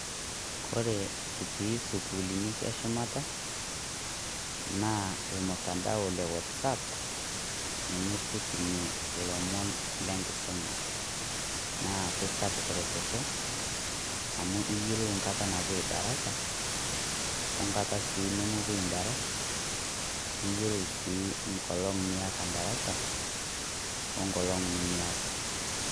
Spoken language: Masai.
Kore kitii esukuuluni eshumata, naa ormutandao lewatsap ninye kitumue ilomon le nkisuma naa kesapuk ereteto amu iyielou enkata napoi idarasa wengata sii nemepoe endarasa wengolong' sii niata endarasa wengolong' nimiata.